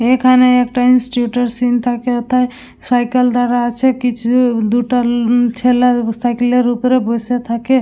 এখানে একটা ইনস্টিটিউশন থাকে তাই সাইকেল দাড়া আছে। কিছু দুটা উ ছেলে সাইকেলের উপরে বসে থাকে--